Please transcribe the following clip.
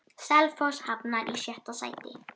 Selfoss hafnar í sjötta sæti.